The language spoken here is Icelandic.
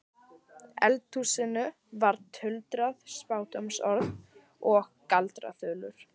eldhúsinu voru tuldruð spádómsorð og galdraþulur.